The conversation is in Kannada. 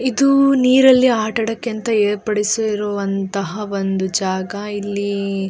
ಇದು ನೀರಲ್ಲಿ ಆಟ ಆಡೋಕೆ ಅಂತ ಏರ್ಪಡಿಸಿರುವಂತಹ ಒಂದು ಜಾಗ ಇಲ್ಲಿ --